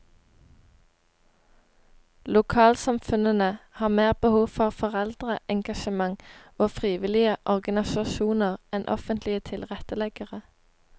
Lokalsamfunnene har mer behov for foreldreengasjement og frivillige organisasjoner enn offentlige tilretteleggere.